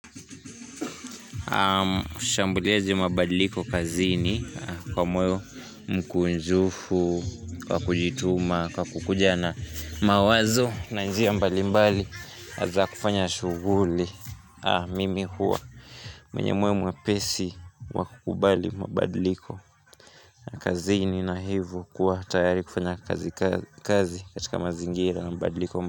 Ushambuliaji wa mabadiliko kazini Kwa moyo mkunjufu Kwa kujituma Kwa kukuja na mawazo na njia mbali mbali za kufanya shughuli Mimi huwa mwenye moyo mwepesi wa kukubali mabadiliko kazini na hivo kuwa tayari kufanya kazi katika mazingira ya mabadiliko.